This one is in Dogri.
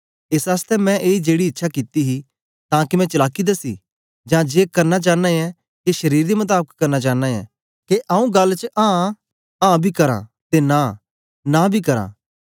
एस आसतै मैं ए जेड़ी इच्छा कित्ती ही तां के मैं चलाकी दसी जां जे करना चांना ऐं के शरीर दे मताबक करना चांना ऐं के आंऊँ गल्ल च आं आं बी करां ते नां नां बी करां